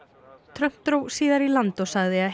Trump dró síðar í land og sagði að